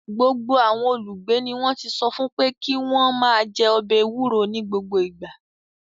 Gbogbo àwọn olùgbé ni wọ́n ti sọ fún pé kí wọ́n máa jẹ ọbẹ̀ ewuro ní gbogbo ìgbà.